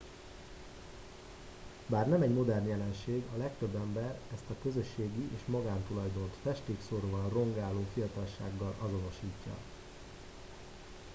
bár nem egy modern jelenség a legtöbb ember ezt a közösségi és magántulajdont festékszóróval rongáló fiatalsággal azonosítja